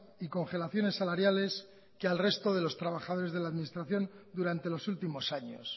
y congelaciones salariales que al resto de los trabajadores de la administración durante los últimos años